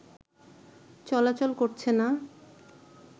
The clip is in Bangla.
চলাচল করছে না